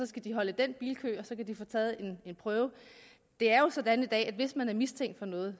skal de holde i den bilkø og så kan de få taget en prøve det er jo sådan i dag at hvis man er mistænkt for noget